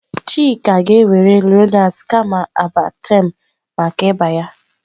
Chika ga-ewere Lonaatị kama Amartem maka ịba ya.